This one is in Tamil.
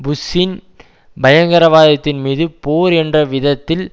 புஷ்ஷின் பயங்கரவாதத்தின்மீது போர் என்ற விதத்தில்